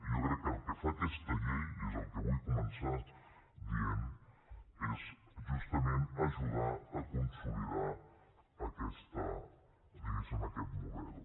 i jo crec que el que fa aquesta llei i és el que vull començar dient és justament ajudar a consolidar aquest diguéssim model